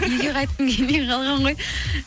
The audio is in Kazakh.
үйге қайтқым келмей қалған ғой